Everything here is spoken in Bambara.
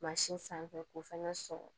sanfɛ k'o fɛnɛ sɔgɔ